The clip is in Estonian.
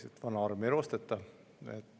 –, et vana arm ei roosteta.